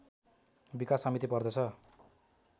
विकास समिति पर्दछ